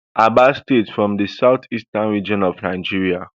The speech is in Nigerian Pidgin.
aba state from the south eastern region of nigeria